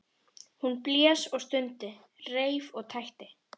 Hún blés og stundi, reif og tætti.